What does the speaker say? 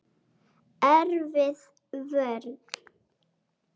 Erfið vörn.